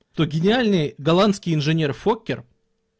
то гениальный голландский инженер фокер